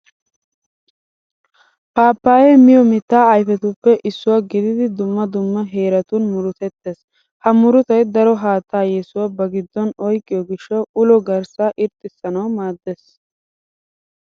Paappayyee miyo mittaa ayfetuppe issuwa gididi dumma dumma heeratun murutettees. Ha murutay daro haattaa yesuwa ba giddon oyqqiyo gishshawu ulo garssaa irxxissanawu maaddees.